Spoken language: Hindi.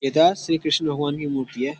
येता श्री कृष्ण भगवान की मूर्ति है।